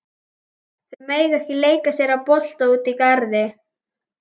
Þau mega ekki leika sér að bolta úti í garði.